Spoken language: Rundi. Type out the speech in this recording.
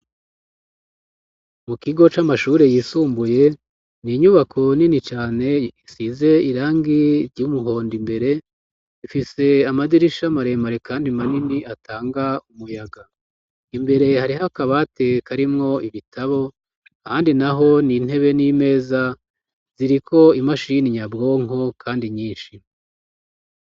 Mu kigo c'amashure yisumbuye ni inyubako nini cane isize irangi ry'umuhondo imbere ifise amadirisha maremare, kandi manini atanga umuyaga imbere hariho akabateka arimwo ibitabo, kandi na ho ni ntebe n'imeza ziria ko imasha y'ini nyabwonko, kandi nyinshimo.